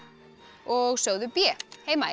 og sögðu b